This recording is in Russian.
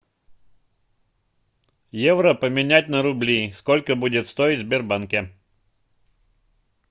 евро поменять на рубли сколько будет стоить в сбербанке